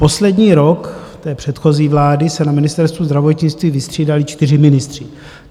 Poslední rok té předchozí vlády se na Ministerstvu zdravotnictví vystřídali čtyři ministři.